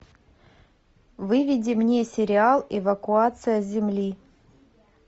выведи мне сериал эвакуация с земли